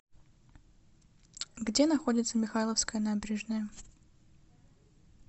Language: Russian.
где находится михайловская набережная